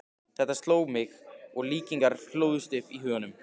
Þetta sló mig, og líkingar hlóðust upp í huganum.